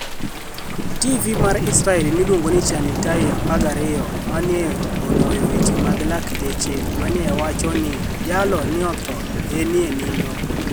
TV mar Israel miluonigo nii ChAnitael 12, ni e oniwoyo weche mag lakteche ma ni e owacho nii jalo ni e otho e niinido.